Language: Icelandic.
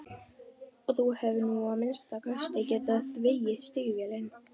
Og þú hefðir nú að minnsta kosti getað þvegið stígvélin.